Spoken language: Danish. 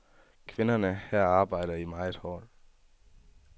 Kvinderne her arbejder meget hårdt.